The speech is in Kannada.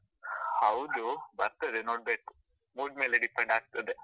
ಹೌದು ಬರ್ತದೆ ನೋಡ್ಬೇಕು, mood ಮೇಲೆ depend ಆಗ್ತದೆ.